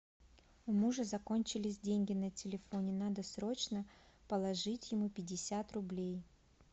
у мужа закончились деньги на телефоне надо срочно положить ему пятьдесят рублей